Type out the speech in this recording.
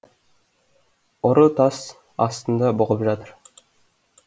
ұры тас астында бұғып жатыр